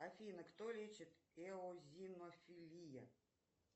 афина кто лечит эозинофелия